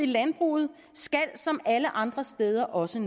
landbruget skal som alle andre steder også